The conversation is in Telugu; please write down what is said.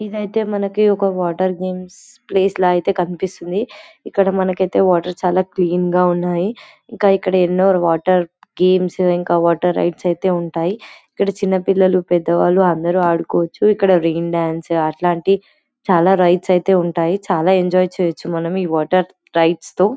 ఇదైతే మనకి ఒక వాటర్ గేమ్స్ ప్లేస్ లా ఐతే కనిపిస్తుంది ఇక్కడ మనకైతే వాటర్ చాలా క్లీన్ గా ఉన్నాయి ఇంకా ఇక్కడ ఎన్నో వాటర్ గేమ్సు ఇంకా వాటర్ రైడ్స్ ఐతే ఉంటాయి ఇక్కడ చిన్న పిల్లలు పెద్దవాళ్ళు అందరు ఆడుకోవచ్చు ఇక్కడ రైన్ డాన్స్ అట్లాంటి చాలా రైడ్స్ ఐతే ఉంటాయి చాలా ఎంజాయ్ చేయొచ్చు మనం ఈ వాటర్ రైడ్స్ తో